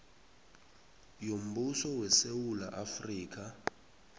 yombuso wesewula afrika